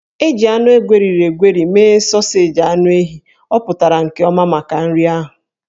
E ji anụ egweriri egweri mee sọọseji anụ ehi, ọ pụtara nke ọma maka nri. ahụ